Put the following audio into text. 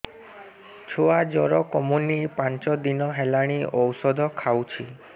ଛୁଆ ଜର କମୁନି ପାଞ୍ଚ ଦିନ ହେଲାଣି ଔଷଧ ଖାଉଛି